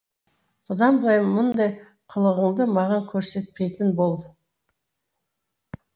бұдан былай мұндай қылығыңды маған көрсетпейтін бол